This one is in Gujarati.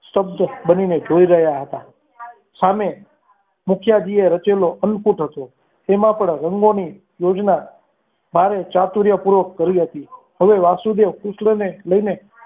સ્તબ્ધ બનીને જોઈ રહ્યા હતા સામે મુખ્ય જઈએ રચેલો અન્નપુટ હતો તેમાં પણ રંગોની યોજના મારે ચાતુર્ય પૂર્વક કરી હતી હવે વાસુદેવ કૃષ્ણને લઈને